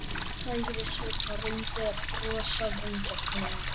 sagði Sveinn og reyndi að brosa vingjarnlega.